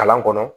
Kalan kɔnɔ